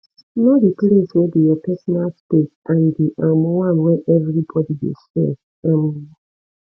know di place wey be your personal space and di um one wey everybody de share um